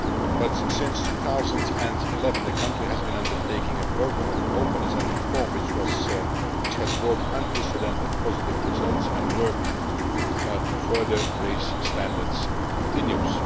But since 2011 the country has been undertaking a programme of openness and reform, which has brought unprecedented positive results, and work to further raise standards continues.